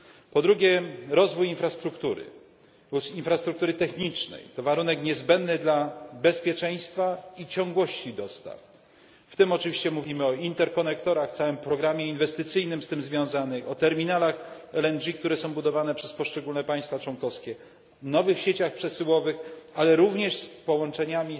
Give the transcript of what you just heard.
Po drugie, rozwój infrastruktury technicznej to warunek niezbędny dla bezpieczeństwa i ciągłości dostaw, w tym oczywiście mówimy o rurociągach międzysystemowych, całym programie inwestycyjnym z tym związanym, o terminalach LNG, które są budowane przez poszczególne państwa członkowskie, o nowych sieciach przesyłowych, ale również o połączeniach